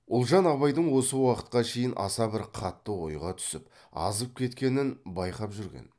ұлжан абайдың осы уақытқа шейін аса бір қатты ойға түсіп азып кеткенін байқап жүрген